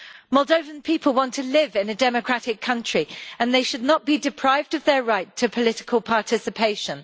Moldovan people want to live in a democratic country and they should not be deprived of their right to political participation.